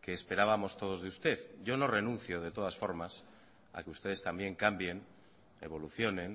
que esperábamos todos de usted yo no renuncio de todas formas a que ustedes también cambien evolucionen